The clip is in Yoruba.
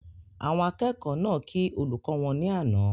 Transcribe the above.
Àwọn akẹ́kọ̀ọ́ náà kí olùkọ́ wọn ní àná